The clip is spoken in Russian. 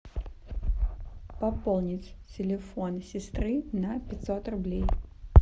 пополнить телефон сестры на пятьсот рублей